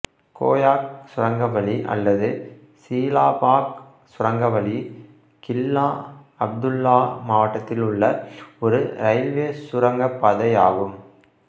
கோயாக் சுரங்கவழி அல்லது சீலாபாக் சுரங்கவழி கில்லா அப்துல்லா மாவட்டத்தில் உள்ள ஒரு இரயில்வே சுரங்கப்பாதையாகும்